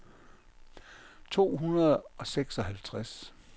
to hundrede og seksoghalvtreds